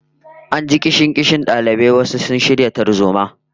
An ji kishin-kishin dalibai wai sun shirya tarzoma